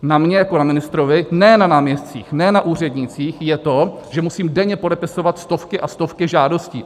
Na mně jako na ministrovi, ne na náměstcích, ne na úřednících, je to, že musím denně podepisovat stovky a stovky žádostí.